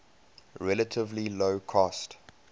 relatively low cost